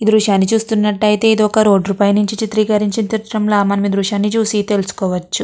ఈ దృశ్యంని చూస్తునట్టు అయితే ఇది ఒక రోడ్ పై నుంచి చిత్రీకరించిన చిత్రం లా మనం ఈ దృశ్యాన్ని చూసి తెలుసుకోవచ్చు.